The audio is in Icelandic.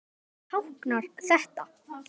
En hvað táknar þetta?